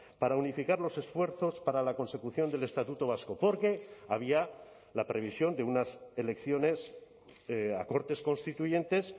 para unificar los esfuerzos para la consecución del estatuto vasco porque había la previsión de unas elecciones a cortes constituyentes